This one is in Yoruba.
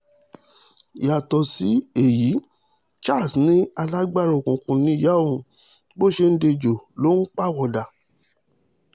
yàtọ̀ sí èyí charles ni alágbára òkùnkùn níyà òun bó ṣe ń di ẹjọ́ ló ń pawọ́dà